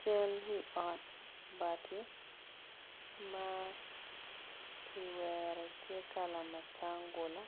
Cal wi ot bati ma kiwero tye kala matangula